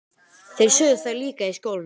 Þeir sögðu það líka í skólanum.